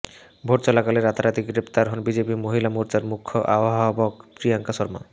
vote চলাকালে রাতারাতি গ্রেফতার হন বিজেপি মহিলা মোর্চার মুখ্য আহ্বায়ক প্রিয়ঙ্কা শর্মা